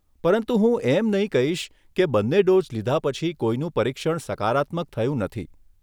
પરંતુ હું એમ નહીં કહીશ કે બંને ડોઝ લીધા પછી કોઈનું પરીક્ષણ સકારાત્મક થયું નથી.